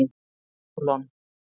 Sólon